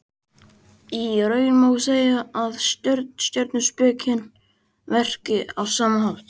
Í raun má segja að stjörnuspekin verki á sama hátt.